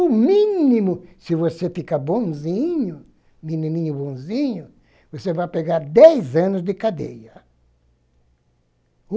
O mínimo, se você ficar bonzinho, menininho bonzinho, você vai pegar dez anos de cadeia.